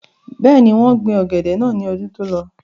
bẹ́ẹ̀ni, wọ́n gbin ọ̀gẹ̀dẹ̀ náà ní ọdún tó lọ